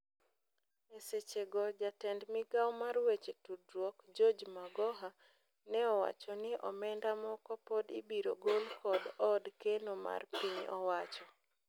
Eseche go jatend migao mar weche tudruok George Magoha neowacho ni omenda moko pod ibiro gol kod od keno mar piny owacho.